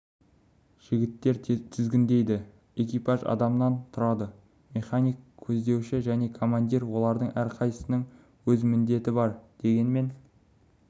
жігіттер тізгіндейді экипаж адамнан тұрады механик көздеуші және командир олардың әрқайсысының өз міндеті бар дегенмен